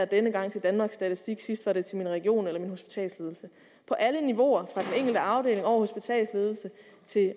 denne gang til danmarks statistik sidst var det til ens region eller hospitalsledelse på alle niveauer fra den enkelte afdeling over hospitalsledelser til